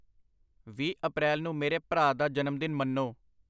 ਵੀਹ ਅਪ੍ਰੈਲ ਨੂੰ ਮੇਰੇ ਭਰਾ ਦਾ ਜਨਮਦਿਨ ਮੰਨੋ